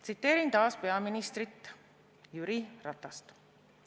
Tsiteerin taas peaminister Jüri Ratast.